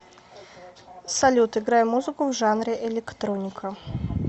салют играй музыку в жанре электроника